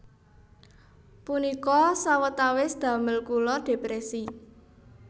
Punika sawetawis damel kula depresi